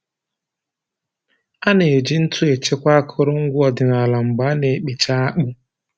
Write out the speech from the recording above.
A na-eji ntụ echekwa akụrụngwa ọdịnaala mgbe a na-ekpecha akpụ